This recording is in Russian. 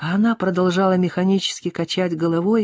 а она продолжала механически качать головой